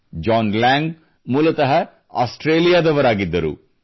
John Lang ಮೂಲತಃ ಆಸ್ಟ್ರೇಲಿಯಾದವರಾಗಿದ್ದರು